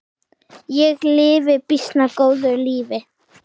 Ég lifi býsna góðu lífi!